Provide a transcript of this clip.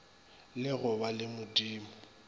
la go ba le modumo